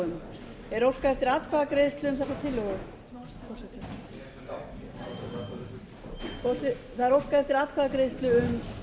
um er óskað eftir atkvæðagreiðslu um þessa tillögu það er óskað eftir atkvæðagreiðslu um